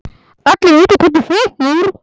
Allir vita hvernig það fór.